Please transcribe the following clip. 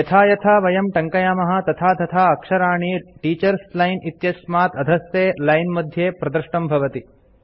यथा यथा वयं टङ्कयामः तथा तथा अक्षराणि टीचर्स लाइन इत्यस्मात् अधस्थे लाइन मध्ये प्रदृष्टं भवति